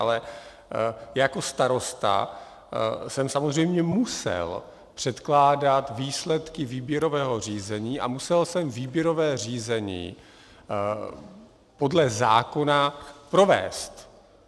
Ale jako starosta jsem samozřejmě musel předkládat výsledky výběrového řízení a musel jsem výběrové řízení podle zákona provést.